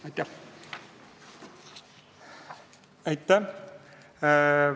Aitäh!